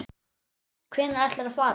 Hvenær ætlarðu að fara?